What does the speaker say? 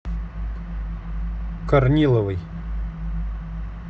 корниловой